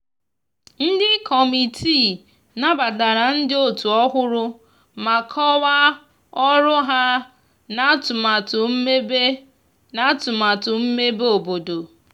ndi kọmitịị nabatara ndi otu ohụrụ ma kowaa ọrụ ha na atumatu mmebe na atumatu mmebe obodo